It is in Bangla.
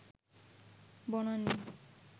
বনানী